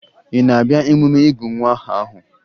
Ị na-abịa emume ịgụ nwa aha ahụ?